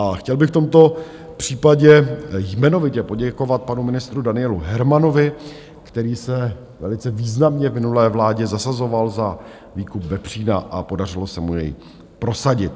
A chtěl bych v tomto případě jmenovitě poděkovat panu ministru Danielu Hermanovi, který se velice významně v minulé vládě zasazoval za výkup vepřína a podařilo se mu jej prosadit.